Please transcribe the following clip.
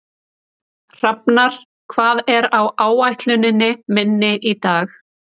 Hrafnar, hvað er á áætluninni minni í dag?